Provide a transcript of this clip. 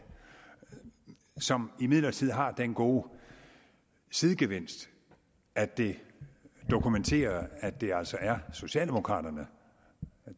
som imidlertid har den gode sidegevinst at det dokumenterer at det altså er socialdemokraterne